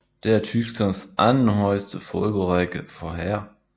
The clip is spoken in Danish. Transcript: Det er Tysklands anden højeste fodboldrække for herrer